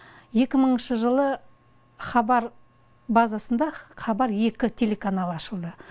екі мыңыншы жылы хабар базасында хабар екі телеканалы ашылды